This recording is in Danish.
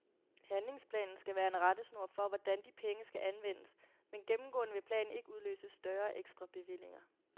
Handlingsplanen skal være en rettesnor for, hvordan de penge skal anvendes, men gennemgående vil planen ikke udløse større ekstra bevillinger.